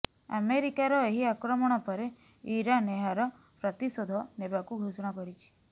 ଆମେରିକାର ଏହି ଆକ୍ରମଣ ପରେ ଇରରାନ୍ ଏହାର ପ୍ରତିଶୋଧ ନେବାକୁ ଘୋଷଣା କରିଛି